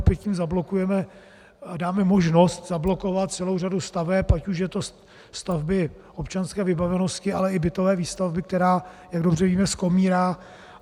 Opět tím zablokujeme, dáme možnost zablokovat celou řadu staveb, ať už jsou to stavby občanské vybavenosti, ale i bytové výstavby, která, jak dobře víme, skomírá.